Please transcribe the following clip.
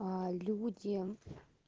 аа люди